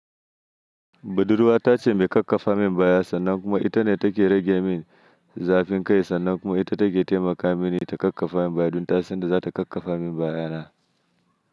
Badurwa ta ce mai kakkafa min baya sannan kuma ita ne take rage min zafin kai sannan kuma ita take taimaka mini ta kakkafa min baya duk ta san da za ta kakkafa min bayana.